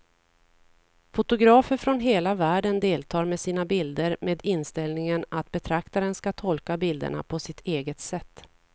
Fotografer från hela världen deltar med sina bilder med inställningen att betraktaren ska tolka bilderna på sitt eget sätt.